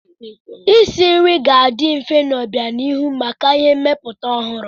Isi nri ga-adị mfe n'obianihu maka ihe mmepụta ọhụrụ.